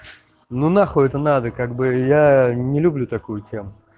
ну нахуй это надо как бы я не люблю такую тему